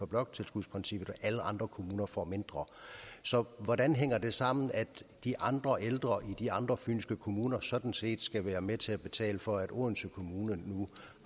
bloktilskudsprincippet og alle andre kommuner får mindre så hvordan hænger det sammen at de andre ældre i de andre fynske kommuner sådan set skal være med til at betale for at odense kommune nu